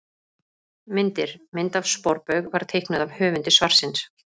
Myndir: Mynd af sporbaug var teiknuð af höfundi svarsins.